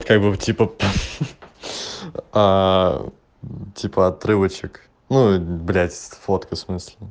как бы типа пф а типа отрывочек ну блядь фотка в смысле